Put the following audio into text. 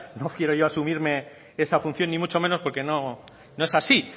no quiero yo asumirme esa función ni mucho menos porque no es así